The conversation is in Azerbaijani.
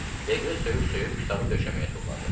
Leqri söyüş-söyüb kitabı döşəməyə tulladı.